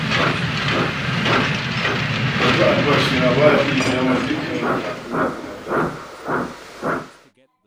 Yanzu albashina ba ya iya biya min dukkan buƙatuna kamar da